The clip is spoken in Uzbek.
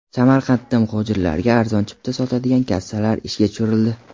Samarqandda muhojirlarga arzon chipta sotadigan kassalar ishga tushirildi.